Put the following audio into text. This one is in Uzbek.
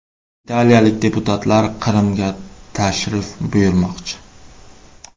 Italiyalik deputatlar Qrimga tashrif buyurmoqchi.